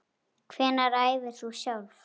Hvenær æfir þú sjálf?